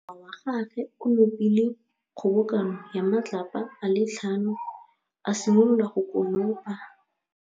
Morwa wa gagwe o nopile kgobokanô ya matlapa a le tlhano, a simolola go konopa.